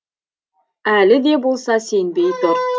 әлі де болса сенбей тұр